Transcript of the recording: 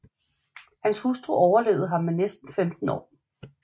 Hans hustru overlevede ham med næsten 15 år